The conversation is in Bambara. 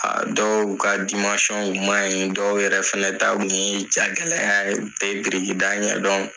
Aa dɔw kaa w maɲi, dɔw yɛrɛ fɛnɛ ta kun yee jagɛlɛya ye, u te birikida ɲɛdɔn.